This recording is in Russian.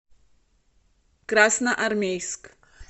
красноармейск